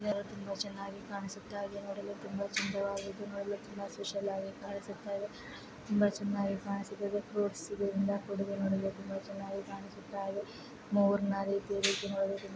ತುಂಬಾ ಚೆನ್ನಾಗಿ ಕಾಣ್ಸುತ್ತೆ ಅದನ್ನುತುಂಬಾ ಚೆನ್ನಾಗಿ ಕಾಣ್ಸುತ್ತೆ. ಅದನ್ನು ನೋಡಲು ತುಂಬಾ ಸುಂದರವಾಗಿನೋಡಲು ನೋಡಲು ಸುಂದರವಾಗಿದೆ ತುಂಬಾ ಸ್ಪೆಷಲ್ ಆಗಿ ಕಾಣುತ್ತಿದೆ ತುಂಬಾ ಚೆನ್ನಾಗಿ ಕಾಣಿಸ್ತಾ ಇದೆ .ಫ್ರುಇಟ್ಸ್ ಇಂದ ನೋಡಲು ತುಂಬಾ ಚೆನ್ನಾಗಿ ಕಾಣಿಸ್ತಾ ಇದೆ. ಮೋರ್ ನ ರೀತಿಯಲ್ಲಿ ನೋಡಲು ತುಂಬಾ--